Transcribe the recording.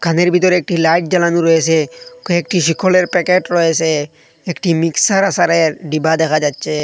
দোখানের বিতরে একটি লাইট জ্বালানো রয়েসে কয়েকটি শিখলের প্যাকেট রয়েসে একটি মিক্সার আসারের ডিবা দেখা যাচ্চে।